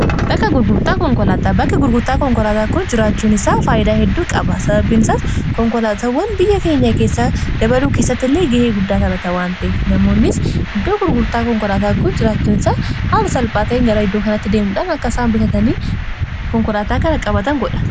bakka gurgurtaa konkolaataa kun jiraachuun isaa faayyidaa heddu qaba sababbiini isaas konkolaatawwan biyya keenya keessa dabaluu keessatti illee ga'ee guddaa tabata waanta'ef namoonnis iddoo gurgurtaa konkolaataa kun jiraachuun isaa haama salphaatai gara iddoo kanatti deemuudhaan akka isaan bitatanii konkolaataa kana qabatan godha.